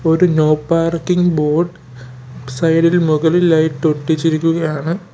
ഒരു no parking board side ഇൽ മുകളിലായിട്ട് ഒട്ടിച്ചിരിക്കുകയാണ്.